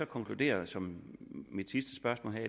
konkludere som